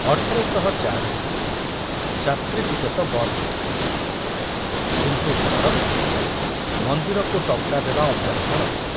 ଅଠର ଶହ ଚାରିରେ ଯାତ୍ରୀ ଟିକସ ବନ୍ଦ ହୋଇଗଲା, କିନ୍ତୁ ସରକାର ମନ୍ଦିରକୁ ଟଙ୍କା ଦେବା ଅବ୍ୟାହତ ରଖିଲେ